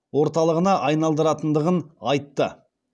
орталығына айналдыратындығын айтты